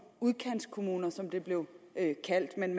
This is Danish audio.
udkantskommuner sådan som det blev kaldt men